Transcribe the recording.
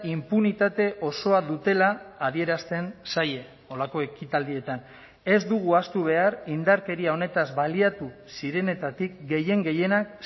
inpunitate osoa dutela adierazten zaie holako ekitaldietan ez dugu ahaztu behar indarkeria honetaz baliatu zirenetatik gehien gehienak